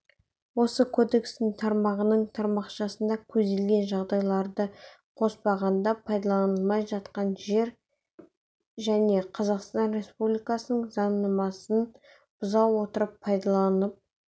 осы кодекстің тармағының тармақшасында көзделген жағдайларды қоспағанда пайдаланылмай жатқан және қазақстан республикасының заңнамасын бұза отырып пайдаланылып